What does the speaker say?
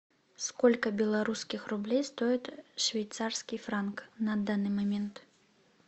сколько белорусских рублей стоит швейцарский франк на данный момент